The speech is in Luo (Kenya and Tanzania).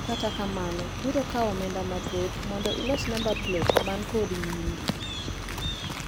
To kata kamano biro kawi omenda mathoth mondo ilos namba plet man kod nyingi.